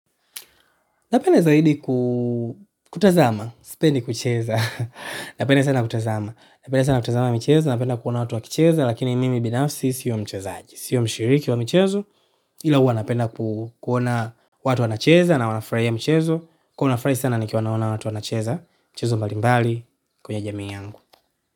Napenda zaidi kutazama, sipendi kucheza, napenda sana kutazama, napenda sana kutazama michezo, napenda kuona watu wakicheza, lakini mimi binafsi sio mchezaji, sio mshiriki wa michezo, ila huwa napenda kuona watu wanacheza na wanafurahia mchezo, kuwa na furahi sana nikiwa naona watu wanacheza, mchezo mbalimbali kwenye jamii yangu.